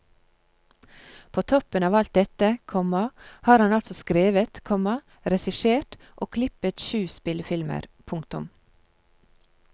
På toppen av alt dette, komma har han altså skrevet, komma regissert og klippet sju spillefilmer. punktum